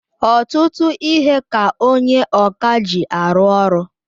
Ọtụtụ ihe ka onye ọkà ji arụ ọrụ.